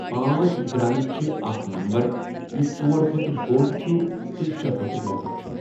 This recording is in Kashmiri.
پانژھ گرَٛنٛد چھُ اَکھ نَمبَر یُس ژور کھوتہٕ بۆڈ چھُ تہٕ شے کھوتہٕ لوکُٹ چھُ۔